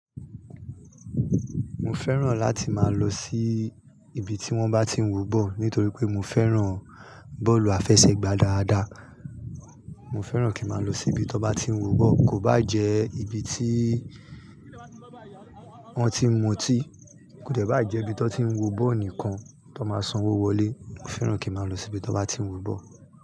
Mo fẹ́ràn láti máa lọ sí ibi tí wón bá ti ń wọ ball nítorí pé mo fẹ́ràn bọ́ọ̀lù àfẹsẹ̀gbá dáadáa. Mo fẹ́ràn kí má lọ sí ibi tó bá ti ń wọ ball, kò bá jẹ́ ibi tí wọ́n ti ń mutí, kò dẹ́ bá à jẹ́ ibi tó ti ń wọ ball nìkan tó máa sanwó wọlé, mo fẹ́ràn kí má lọ sí ibi tó bá ti ń wọ ball.